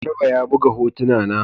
Garba ya buga hotuna na.